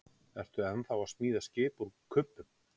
Ertu ennþá að smíða skip úr kubbum?